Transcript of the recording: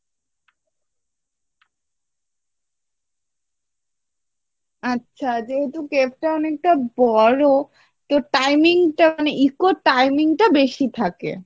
আচ্ছা যেহেতু cave টা অনেকটা বড়ো তো timing টা মানে eco এর timing টা বেশি থাকে